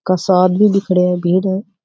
कासा आदमी भी खड़ा है भीड़ है।